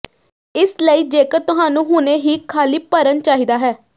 ਇਸ ਲਈ ਜੇਕਰ ਤੁਹਾਨੂੰ ਹੁਣੇ ਹੀ ਖਾਲੀ ਭਰਨ ਚਾਹੀਦਾ ਹੈ